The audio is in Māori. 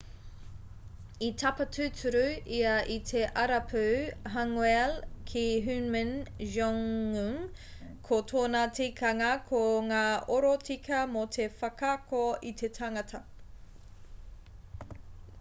i tapa tūturu ia i te arapū hanguel ki hunmin jeongeum ko tōna tikanga ko ngā oro tika mō te whakaako i te tangata